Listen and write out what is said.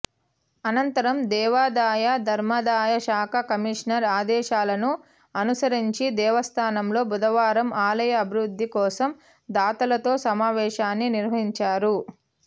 అనంతరం దేవాదాయ ధర్మాదాయ శాఖ కమిషనర్ ఆదేశాలను అనుసరించి దేవస్థానంలో బుధవారం ఆలయ అభివృద్ధి కోసం దాతలతో సమావేశాన్ని నిర్వహించారు